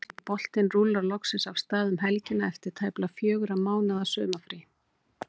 Ítalski boltinn rúllar loksins af stað um helgina eftir tæplega fjögurra mánaða sumarfrí.